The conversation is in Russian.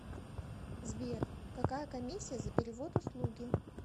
сбер какая комисия за перевод услуги